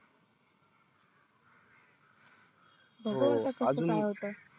हो आजून काय होत